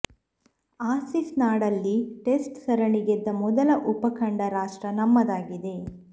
ಆಸಿಸ್ ನಾಡಲ್ಲಿ ಟೆಸ್ಟ್ ಸರಣಿ ಗೆದ್ದ ಮೊದಲ ಉಪಖಂಡ ರಾಷ್ಟ್ರ ನಮ್ಮದಾಗಿದೆ